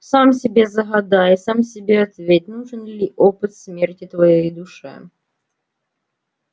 сам себе загадай сам себе ответь нужен ли опыт смерти твоей душе